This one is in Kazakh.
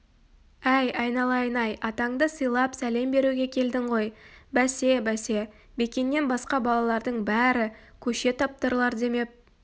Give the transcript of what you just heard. әй айналайын-ай атаңды сыйлап сәлем беруге келдің ғой бәсе-бәсе бекеннен басқа балалардың бәрі көше таптарлар демеп